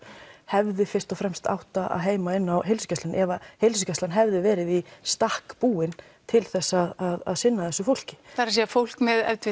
hefði fyrst og fremst átt að eiga heima inn á heilsugæslunni ef heilsugæslan hefði verið í stakk búin til þess að sinna þessu fólki það er að segja fólk með